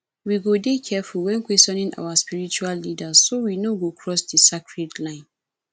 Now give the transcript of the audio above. we go dey careful when questioning our spiritual leaders so we no go cross di sacred lines